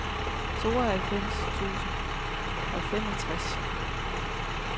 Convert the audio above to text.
tooghalvfems tusind og femogtres